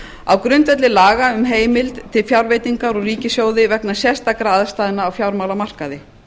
á grundvelli laga um heimild til fjárveitingar úr ríkissjóði vegna sérstakra aðstæðna á fjármálamarkaði